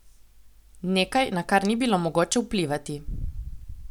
Nekaj, na kar ni bilo mogoče vplivati.